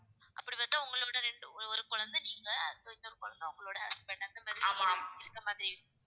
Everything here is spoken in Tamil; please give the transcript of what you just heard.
அப்படி பார்த்தா உங்களை விட ரெண்டு ஒரு குழந்தை நீங்க அப்பறம் இன்னொரு குழந்தை உங்களோட husband அந்த மாதிரி இந்த மாதிரி